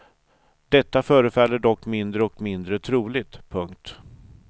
Detta förefaller dock mindre och mindre troligt. punkt